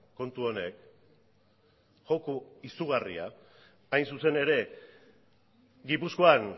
kontu honek joko izugarria hain zuzen ere gipuzkoan